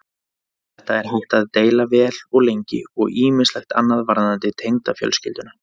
Um þetta er hægt að deila vel og lengi og ýmislegt annað varðandi tengdafjölskylduna.